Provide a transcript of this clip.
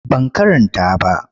Ban karanta ba.